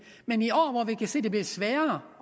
men i år hvor vi kan se at det bliver sværere